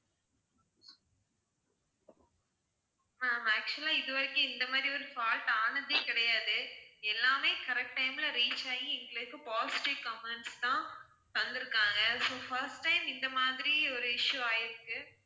ma'am actual ஆ இது வரைக்கும் இந்த மாதிரி ஒரு fault ஆனதே கிடையாது, எல்லாமே correct time ல reach ஆகி எங்களுக்கு positive comments தான் தந்துருக்காங்க so first time இந்த மாதிரி ஒரு issue ஆயிருக்கு.